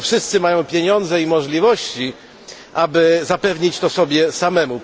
Nie wszyscy mają pieniądze i możliwości, aby zapewnić to sobie samemu.